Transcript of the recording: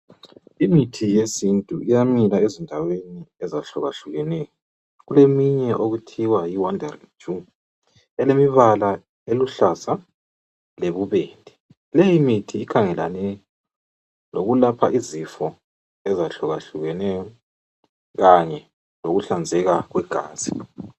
Imithi yesintu iya. mila ezindaweni ezehlukahlukeneyo kuleminye okuthiwa yiwandaringiju elemibala eluhlaza lobubede leyo imithi ikhangelene lokulapha izifo ezitshiyeneyo Kanye lokuhlanzeka kwegazi